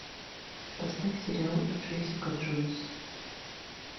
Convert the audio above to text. поставь сериал джессика джойс